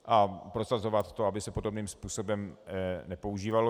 A prosazovat to, aby se podobným způsobem nepoužívalo